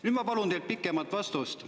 Nüüd ma palun teilt pikemat vastust.